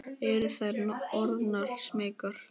Eru þær orðnar smeykar?